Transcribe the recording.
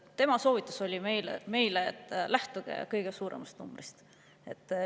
Tema soovitus meile oli see: lähtuge kõige suuremast numbrist.